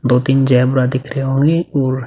दो तीन ज़ेब्रा दिख रहे होंगे और --